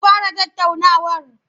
An fara tattaunawar?